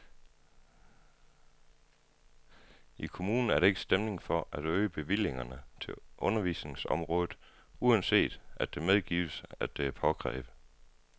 I kommunen er der ikke stemning for at øge bevillingerne til undervisningsområdet, uanset at det medgives, at det er påkrævet.